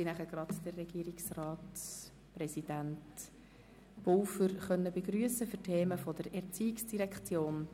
In Kürze werde ich den Regierungsratspräsidenten Pulver zu den Themen der ERZ begrüssen können.